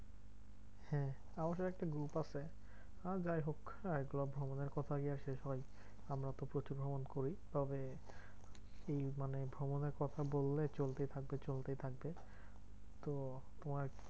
হ্যাঁ আমাদের একটা group আছে। আর যাইহোক এইগুলো ভ্রমণের কথা আর কি শেষ হয়? আমরা তো প্রচুর ভ্রমণ করি তবে এই মানে ভ্রমণের কথা বললে চলতেই থাকবে চলতেই থাকবে। তো তোমার